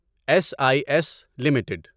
S I S limited